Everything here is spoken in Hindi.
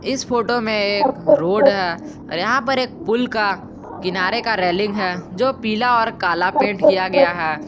इस फोटो में एक रोड है और यहां पर एक पुल का किनारे का रेलिंग है जो पीला और काला पेंट किया गया है।